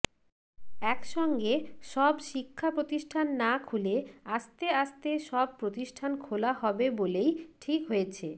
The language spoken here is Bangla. এক সঙ্গে সব শিক্ষাপ্রতিষ্ঠান না খুলে আস্তে আস্তে সব প্রতিষ্ঠান খোলা হবে বলেই ঠিক হয়েছে